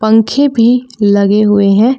पंखे भी लगे हुए हैं।